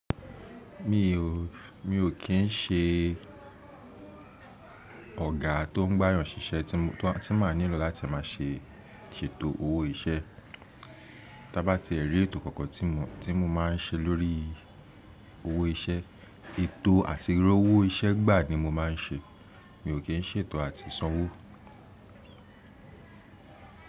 Mi ò, mi ò kí ń ṣe ọ̀gá tó ń gbáyàn ṣíṣe tí má nílò láti má ṣe ṣètò owó iṣẹ́. Tá bá ti èrí ètò kankan tí mo, tí mo má ń ṣe lórí owó iṣẹ́, ètò àti r'owó iṣẹ́ gbà ni mo má ń ṣe. Mi ò kí ń ṣètò àti sanwó.